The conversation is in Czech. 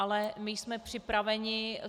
Ale my jsme připraveni.